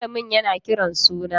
Malamin yana kiran suna.